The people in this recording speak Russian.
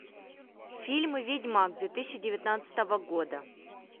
фильм ведьмак две тысячи девятнадцатого года